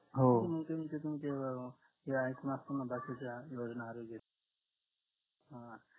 हो हे आहेतना बाकीच्या योजना आरोग्य